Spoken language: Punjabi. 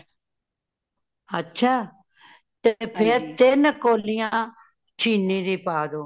ਅੱਛਾ ਤੇ ਫੇਰ ਤਿਨ ਕੋਲਿਆਂ ਚੀਨੀ ਦੀ ਪਾ ਦਿਯੋ